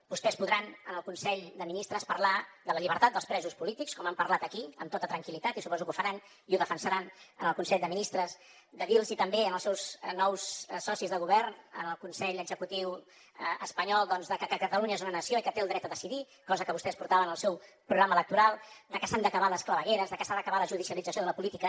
vostès podran en el consell de ministres parlar de la llibertat dels presos polítics com han parlat aquí amb tota tranquil·litat i suposo que ho faran i ho defensaran en el consell de ministres de dir los també als seus nous socis de govern en el consell executiu espanyol doncs que catalunya és una nació i que té el dret a decidir cosa que vostès portaven en el seu programa electoral de que s’han d’acabar les clavegueres de que s’ha d’acabar la judicialització de la política